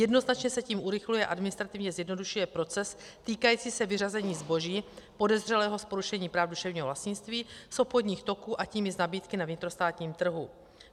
Jednoznačně se tím urychluje a administrativně zjednodušuje proces týkající se vyřazení zboží podezřelého z porušení práv duševního vlastnictví z obchodních toků, a tím i z nabídky na vnitrostátním trhu.